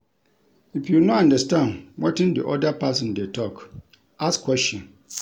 If you no understand wetin di oda person dey talk, ask question